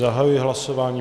Zahajuji hlasování.